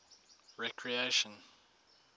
recreation